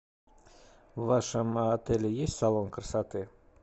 в вашем отеле есть салон красоты